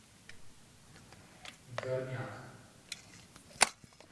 горняк